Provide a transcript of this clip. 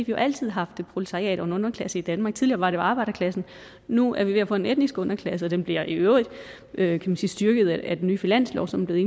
vi altid har haft et proletariat og en underklasse i danmark tidligere var det jo arbejderklassen nu er vi ved at få en etnisk underklasse den bliver i øvrigt øvrigt styrket af den nye finanslovsaftale